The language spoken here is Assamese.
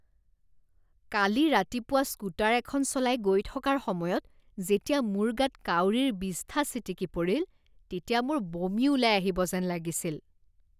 কালি ৰাতিপুৱা স্কুটাৰ এখন চলাই গৈ থকাৰ সময়ত যেতিয়া মোৰ গাত কাউৰিৰ বিষ্ঠা ছিটিকি পৰিল তেতিয়া মোৰ বমি ওলাই আহিব যেন লাগিছিল।